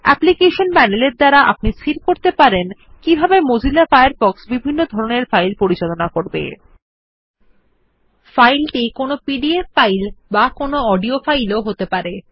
application panel এর দ্বারা আপনি স্থির করতে পারেন কিভাবে মোজিলা ফায়ারফক্স বিভিন্ন ধরনের ফাইল পরিচালনা করবে এটি একটি পি ডিএফ ডকুমেন্ট অথবা একটি অডিও ফাইল হতে পারে